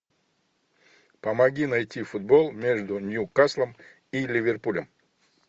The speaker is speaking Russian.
помоги найти футбол между ньюкаслом и ливерпулем